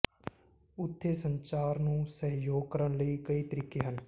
ਉੱਥੇ ਸੰਚਾਰ ਨੂੰ ਸਹਿਯੋਗ ਕਰਨ ਲਈ ਕਈ ਤਰੀਕੇ ਹਨ